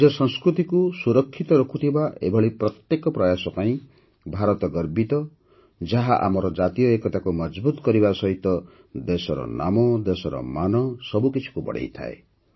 ନିଜ ସଂସ୍କୃତିକୁ ସୁରକ୍ଷିତ ରଖୁଥିବା ଏଭଳି ପ୍ରତ୍ୟେକ ପ୍ରୟାସ ପାଇଁ ଭାରତ ଗର୍ବିତ ଯାହା ଆମର ଜାତୀୟ ଏକତାକୁ ମଜଭୁତ କରିବା ସହିତ ଦେଶର ନାମ ଦେଶର ମାନ ସବୁକିଛିକୁ ବଢ଼ାଇଥାଏ